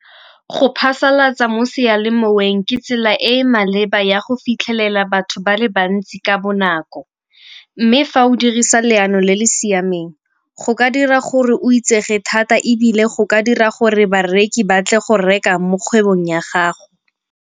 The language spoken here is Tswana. Go phasalatsa mo sealemoweng ke tsela e e maleba ya go fitlhelela batho ba le bantsi ka bonako. Mme fa o dirisa leano le le siameng go ka dira gore o itsege thata ebile go ka dira gore bareki ba tle go reka mo kgwebong ya gago.